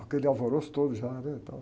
Aquele alvoroço todo já, né? Tal...